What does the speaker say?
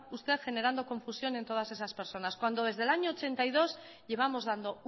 usted generando confusión en todas esas personas cuando desde el año mil novecientos ochenta y dos llevamos dando